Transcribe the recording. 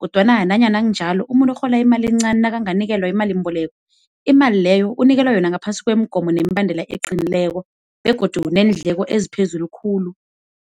kodwana nanyana kunjalo, umuntu orhola imali encani nakanganikelwa imalimboleko, imali leyo unikelwa yona ngaphasi kwemigomo nemibandela eqinileko begodu neendleko eziphezulu khulu.